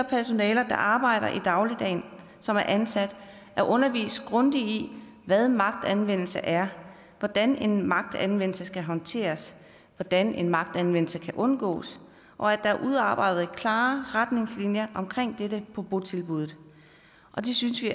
personale der arbejder i dagligdagen og som er ansat er undervist grundigt i hvad magtanvendelse er hvordan magtanvendelse skal håndteres hvordan magtanvendelse kan undgås og at der er udarbejdet klare retningslinjer for dette på botilbuddet det synes vi